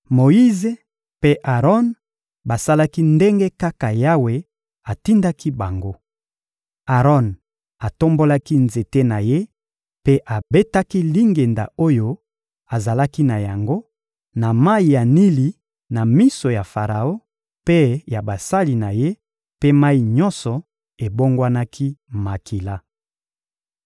Moyize mpe Aron basalaki ndenge kaka Yawe atindaki bango. Aron atombolaki nzete na ye mpe abetaki lingenda oyo azalaki na yango, na mayi ya Nili na miso ya Faraon mpe ya basali na ye; mpe mayi nyonso ebongwanaki makila.